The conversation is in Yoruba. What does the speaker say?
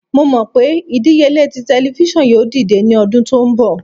Mo mọ pe idiyele ti tẹlifisiọnu yoo dide ni ọdun to nbọ